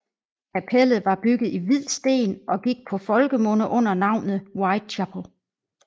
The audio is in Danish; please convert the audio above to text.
Kapellet var bygget i hvid sten og gik på folkemunde under navnet White Chapel